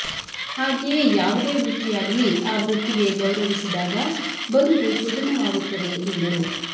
ಹಾಗೆಯೇ ಯಾವುದೇ ವೃತ್ತಿಯಾಗಲಿ ಆ ವೃತ್ತಿಗೆ ಗೌರವಿಸಿದಾಗ ಬದುಕು ಸುಗಮವಾಗುತ್ತದೆ ಎಂದರು